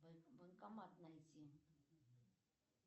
банкомат найти